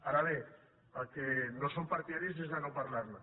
ara bé del que no som partidaris és de no parlar ne